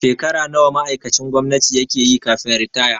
Shekara nawa ma'aikacin gwamnati yake yi kafin ritaya?